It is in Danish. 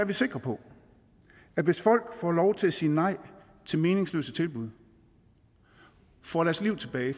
vi sikre på at hvis folk får lov til at sige nej til meningsløse tilbud får deres liv tilbage